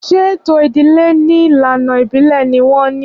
Ṣé ètò ìdílé ní ìlànà ìbílè ni wọn ní?